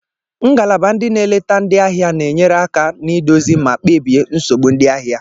Ngalaba ndị n'eleta ndị ahịa na-enyere aka n'ịdozi ma kpebie nsogbu ndị ahịa.